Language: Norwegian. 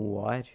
moaer